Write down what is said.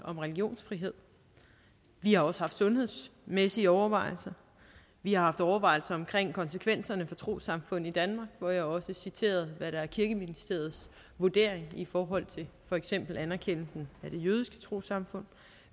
om religionsfrihed vi har også haft sundhedsmæssige overvejelser vi har haft overvejelser omkring konsekvenserne for trossamfund i danmark hvor jeg også citerede hvad der er kirkeministeriets vurdering i forhold til for eksempel anerkendelsen af det jødiske trossamfund